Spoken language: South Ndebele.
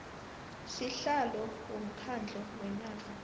sihlalo womkhandlu wenarha